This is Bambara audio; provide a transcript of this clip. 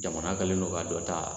Jamana kɛlen don ka dɔ ta